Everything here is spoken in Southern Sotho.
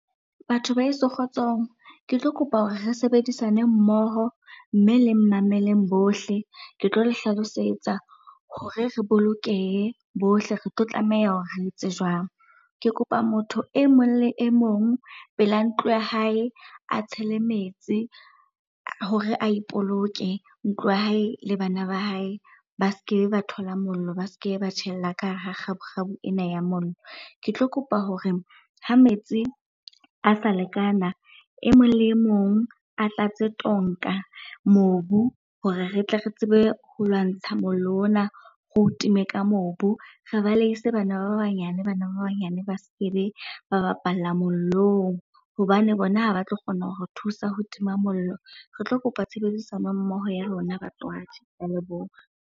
Batho baheso kgotsong. Ke tlo kopa hore re sebedisane mmoho mme le mmameleng bohle. Ke tlo le hlalosetsa hore re bolokehe bohle, re tlo tlameha hore re etse jwang. Ke kopa motho e mong le e mong pela ntlo ya hae a tshele metsi hore a ipoloke, ntlo ya hae le bana ba hae ba seke ba thola mollo, ba seke ba tjhella ka hara kgabukgabu ena ya mollo. Ke tlo kopa hore ha metsi a sa lekana, e mong le mong a tlatse tonka mobu hore re tle re tsebe ho lwantsha mollo ona re o time ka mobu. Re baleise bana ba banyane ba seke be ba bapala mollong hobane bona ha ba tlo kgona ho re thusa ho tima mollo. Re tlo kopa tshebedisano mmoho ya lona batswadi. Ke a leboha.